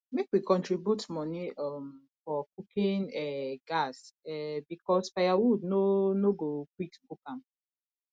make we contribute money um for cooking um gas um because firewood no no go quick cook am